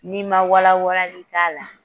N'i ma wala walali k'a la